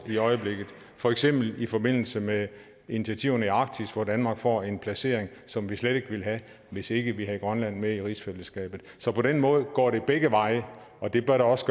i øjeblikket for eksempel i forbindelse med initiativerne i arktis hvor danmark får en placering som vi slet ikke ville have hvis ikke vi havde grønland med i rigsfællesskabet så på den måde går det begge veje og det bør det også